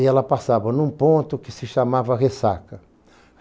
E ela passava num ponto que se chamava Ressaca.